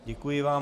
Děkuji vám.